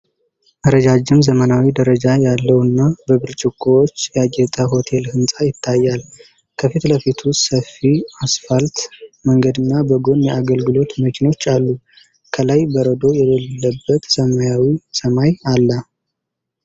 ረዣዥም፣ ዘመናዊ፣ ደረጃ ያለውና በብርጭቆዎች ያጌጠ ሆቴል ህንፃ ይታያል። ከፊትለፊቱ ሰፊ አስፋልት መንገድና በጎን የአገልግሎት መኪኖች አሉ። ከላይ በረዶ የሌለበት ሰማያዊ ሰማይ አለ።